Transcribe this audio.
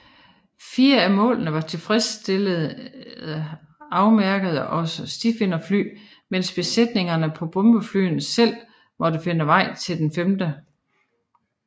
Fire af målene var tilfredsstillende afmærkede af stifinderfly mens besætningerne på bombeflyene selv måtte finde vej til det femte